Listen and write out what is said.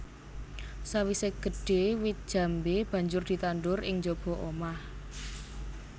Sawisé gedhé wit jambé banjur ditandur ing njaba omah